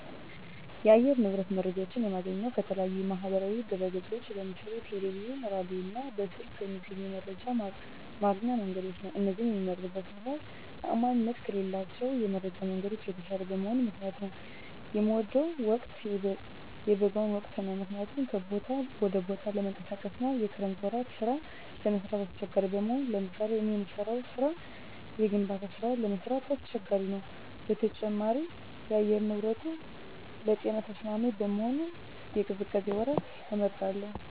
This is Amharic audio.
የአየር ንብረት መረጃዎች የማገኘው ከተለያዩ የማህበራዊ ድህረገጾች ነው ለምሳሌ ቴለቪዥን ራዲዮ እና በስልክ ከሚገኙ የመረጃ ማግኛ መንገዶች ነው እነዚህን የመምመርጥበት ምክነያት ተአማኒነታቸው ከሌሎች የመረጃ መንገዶች የተሻለ በመሆኑ ምክንያት ነው። የምወደው ወቅት የበጋውን ወቅት ነው ምክንያቱም ከቦታ ወደ ቦታ ለመንቀሳቀስ አና የክረምት ወራት ስራ ለመስራት አሳቸጋሪ በመሆኑ ለምሳሌ እኔ የምሰራው ስራ የግንባታ ስራ ለመስራት አስቸጋሪ ነው በተጨማሪም የአየር ንብረቱንም ለጤና ተስማሚ በመሆኑ የቅዝቃዜ ወራትን እመርጣለሁ